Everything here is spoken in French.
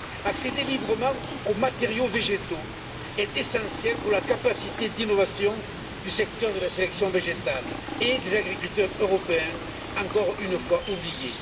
Accéder librement aux matériaux végétaux est essentiel pour la capacité d'innovation du secteur de la sélection végétale et des agriculteurs européens, encore une fois oubliés.